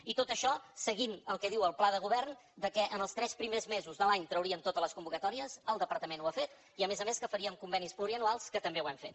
i tot això seguint el que diu el pla de govern que en els tres primers mesos de l’any trauríem totes les convocatòries el departament ho ha fet i a més a més que faríem convenis pluriennals que també ho hem fet